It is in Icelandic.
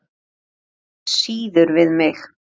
Það á síður við mig.